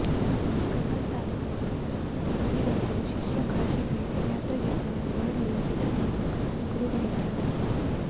ಗಂಗಾಸ್ನಾನ ಮಾಡಿಬರಲು ಶಿಷ್ಯ ಕಾಶಿಗೆ ಯಾತ್ರೆಗೆಂದು ಹೊರಡಲು ಸಿದ್ಧನಾದಾಗ ಗುರುಗಳಿಗೆ ಆತಂಕ